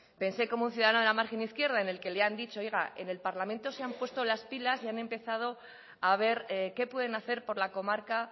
pensé como un ciudadano de la margen izquierda en el que le han dicho oiga en el parlamento se han puesto las pilas y han empezado a ver qué pueden hacer por la comarca